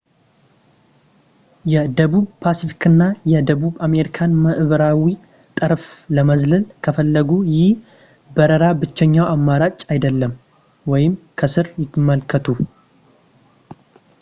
የደቡብ ፓስፊክን እና የደቡብ አሜሪካን ምዕራባዊ ጠረፍ ለመዝለል ከፈለጉ ይህ በረራ ብቸኛው አማራጭ አይደለም። ከስር ይመልከቱ